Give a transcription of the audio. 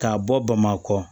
K'a bɔ bamakɔ